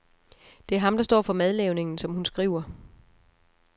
Det er ham, der står for madlavningen, som hun skriver.